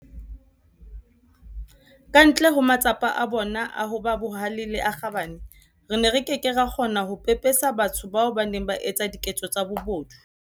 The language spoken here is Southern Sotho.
Ka ntle ho matsapa a bona a ho ba bahale le a kgabane, re ne re ke ke ra kgona ho pepesa batho bano ba etsang diketso tsa bobodu.